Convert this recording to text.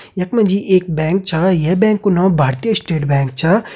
यख मा जी एक बैंक छा यह बैंक कु नाम भारतीय स्टेट बैंक छा।